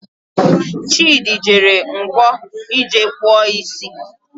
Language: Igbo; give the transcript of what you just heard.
Chidi jere Nkwo ije kpụọ isi